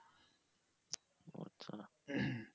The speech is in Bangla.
ও আচ্ছা।